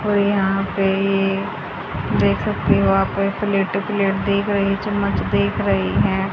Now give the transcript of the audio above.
और यहां पे ये देख सकते हो आप प्लेट प्लेट देख रही चम्मच देख रही है।